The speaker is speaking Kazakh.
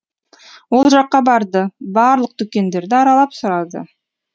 ол жаққа барды барлық дүкендерді аралап сұрады